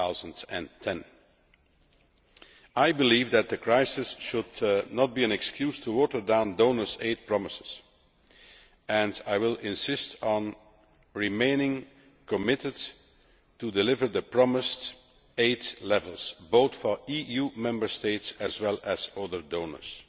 2010. I believe that the crisis should not be an excuse to water down donors' aid promises, and I will insist on remaining committed to delivering the promised aid levels, both for EU Member States as well as other donors.